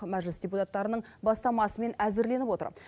мәжіліс депутаттарының бастамасымен әзірленіп отыр